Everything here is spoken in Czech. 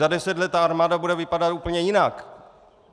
Za deset let ta armáda bude vypadat úplně jinak!